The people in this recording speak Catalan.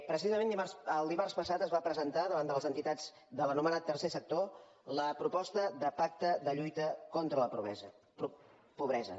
precisament el dimarts passat es va presentar davant de les entitats de l’anomenat tercer sector la proposta de pacte de lluita contra la pobresa